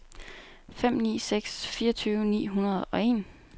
fem ni fem seks fireogtyve ni hundrede og en